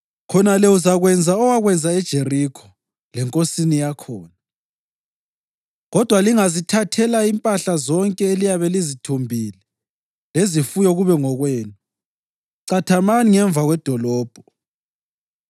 Khonale uzakwenza owakwenza eJerikho lenkosini yakhona, kodwa lingazithathela impahla zonke eliyabe lizithumbile lezifuyo kube ngokwenu. Cathamani ngemva kwedolobho.”